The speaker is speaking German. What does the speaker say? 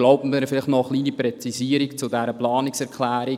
Erlauben Sie mir noch eine kleine Präzisierung zu dieser Planungserklärung.